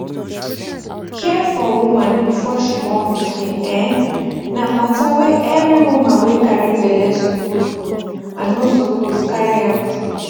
care for woman before she born pikin[um]na matter wey every woman wey carry belle suppose know and no suppose carry am play